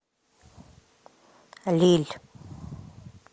лилль